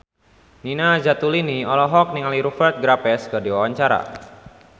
Nina Zatulini olohok ningali Rupert Graves keur diwawancara